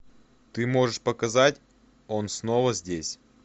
ты можешь показать он снова здесь